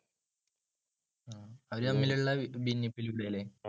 അവര് തമ്മിലുള്ള ഭിന്നിപ്പിലൂടെയല്ലേ?